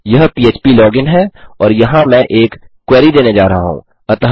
यह पह्प लॉगिन है और यहाँ मैं एक क्वेरी देने जा रहा हूँ